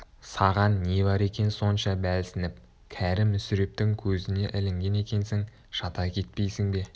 саған не бар екен сонша бәлсініп кәрі мүсірептің көзіне ілінген екенсің жата кетпейсің бе